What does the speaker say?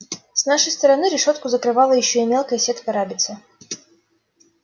с нашей стороны решётку закрывала ещё и мелкая сетка рабица